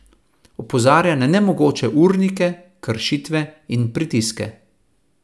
Opozarja na nemogoče urnike, kršitve in pritiske.